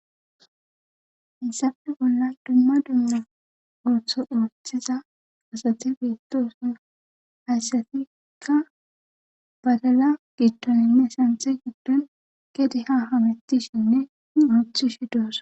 Issafe bolla dumma dumma ooththo oothiza asati beetos hayssatikka badala gittoninne santhe giddon gede hahamethishinne ooctchi shi doosa.